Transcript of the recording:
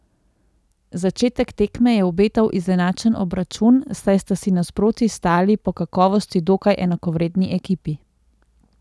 Začetek tekme je obetal izenačen obračun, saj sta si nasproti stali po kakovosti dokaj enakovredni ekipi.